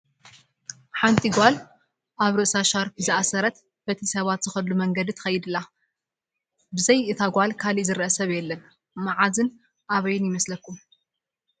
ሓንቲ ጓል ኣብ ርእሳ ሻርፒ ዝኣሰረት በቲ ሰባት ዝኸድሉ መንገዲ ትኸይድ ኣላ፡፡ ብዘይታ እታ ጓል ካሊእ ዝረአ ሰብ የለን፡፡ ማዓዝን ኣበይን ይመስለኩም?